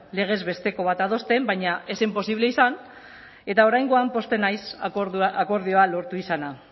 legez besteko bat adosten baina ez zen posible izan eta oraingoan pozten naiz akordioa lortu izana